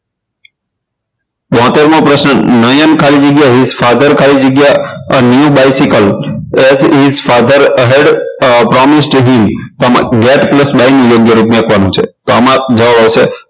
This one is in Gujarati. બોતેર મો પ્રશ્ન નયન ખાલી જગ્યા his father ખાલી જગ્યા a new bicycle father hed plus by ની જગ્યાએ આમાં જવાબ આવશે